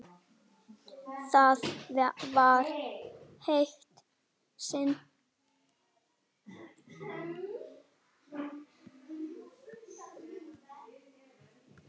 Það var eitt sinn.